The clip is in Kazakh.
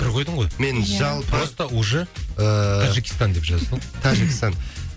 үтір қойдың ғой иә мен жалпы просто уже ыыы таджикистан деп жаза сал тәжікстан